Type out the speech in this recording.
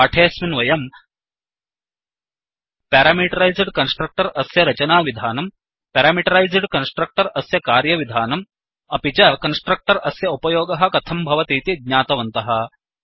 पाठेऽस्मिन् वयम् parameterised constructor अस्य रचनाविधानं प्यारामीटरैस्ड् कन्स्ट्रक्टर् अस्य कार्यविधानं अपि च कन्स्ट्रक्टर् अस्य उपयोगः कथं भवतीति ज्ञातवन्तः